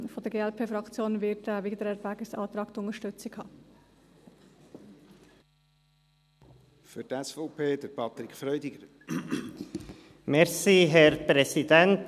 Von der Glp-Fraktion wird dieser Wiedererwägungsantrag die Unterstützung haben.